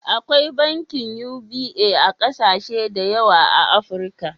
Akwai bankin UBA a kasashe da yawa a Afrika.